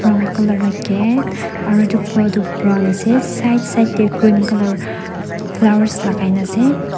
brown color la gate aro itu floor tu brown ase side side tey green color flowers lagaina ase.